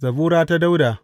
Zabura ta Dawuda.